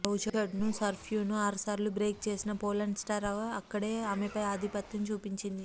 బౌచర్డ్ను సర్వ్ను ఆరు సార్లు బ్రేక్ చేసిన పోలాండ్ స్టార్ అక్కడే ఆమెపై ఆధిపత్యం చూపించింది